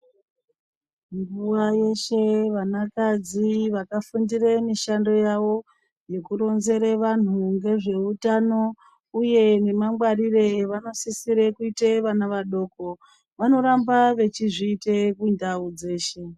Nguwa yeshe vana kadzi vakafundira mushando yawo yekuronzera vantu vezvehutano uye nemangwariro avamosisira kuita vana vadoko vanoramba vachizviita mundau dzeshe.